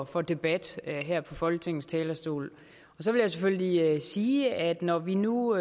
for debat her på folketingets talerstol så vil jeg selvfølgelig sige at når vi nu